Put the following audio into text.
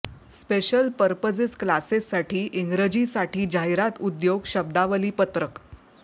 special purposes क्लासेससाठी इंग्रजीसाठी जाहिरात उद्योग शब्दावली पत्रक